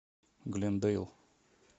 глендейл